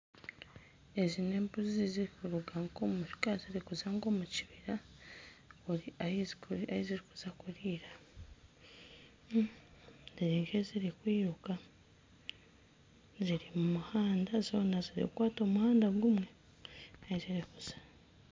Ezi n'embuzi zirikuruga nka omuka zirikuza nka omu kibira ahizirikuza kuriira. iri nka ezirikwiruka ziri mumuhanda zoona ziri kukwata omuhanda gumwe.